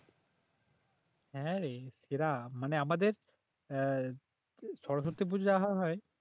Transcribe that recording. হ্যাঁরে সেরা মানে আমাদের আহ সরস্বতী পূজা হয়